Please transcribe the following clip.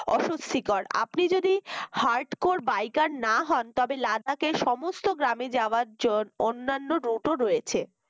অস্বস্তিকর আপনি যদি hard core biker না হন তবে লাদাকে সমস্ত গ্রামে যাওয়ার জন অন্যান্য root ও রয়েছে